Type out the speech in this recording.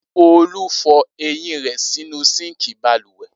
Olu fọ eyín rẹ̀ sínú síńkì balùwẹ̀.